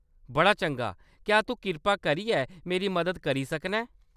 बड़ा चंगा ! क्या तूं किरपा करियै मेरी मदद करी सकना ऐं ?